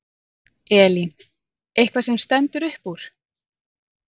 Elín: Eitthvað sem stendur upp úr?